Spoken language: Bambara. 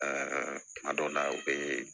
kuma dɔw la u bɛ